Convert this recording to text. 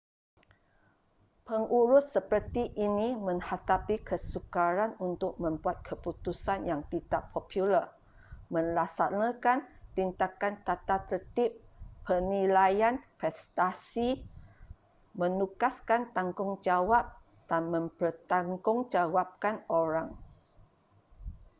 pengurus seperti ini menghadapi kesukaran untuk membuat keputusan yang tidak popular melaksanakan tindakan tatatertib penilaian prestasi menugaskan tanggungjawab dan mempertanggungjawabkan orang